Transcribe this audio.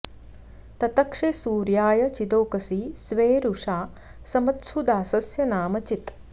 ततक्षे सूर्याय चिदोकसि स्वे वृषा समत्सु दासस्य नाम चित्